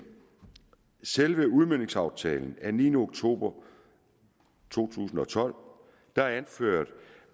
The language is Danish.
selve udmøntningsaftalen af niende oktober to tusind og tolv er anført